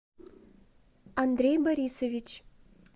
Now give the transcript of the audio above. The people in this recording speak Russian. андрей борисович